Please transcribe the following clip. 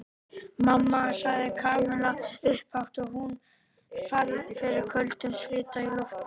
Mamma sagði Kamilla upphátt og hún fann fyrir köldum svita í lófunum.